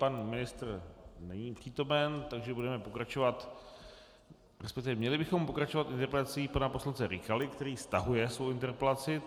Pan ministr není přítomen, takže budeme pokračovat, respektive měli bychom pokračovat interpelací pana poslance Rykaly, který stahuje svou interpelaci.